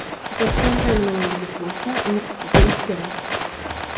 Toshkentda nima yangilik bo‘lsa, Nukusga kelishi kerak.